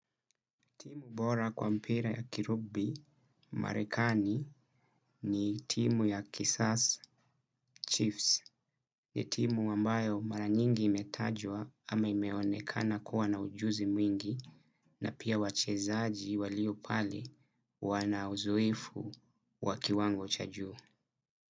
Timu bora kwa mpira ya kirugbi marekani ni timu ya Kisars Chiefs. Ni timu ambayo mara nyingi imetajwa ama imeonekana kuwa na ujuzi mwingi na pia wachezaji walio pale wana uzoefu wa kiwango cha juu.